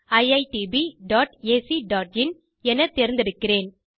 jokeriitbacin எனத் தேர்ந்தெடுக்கிறேன்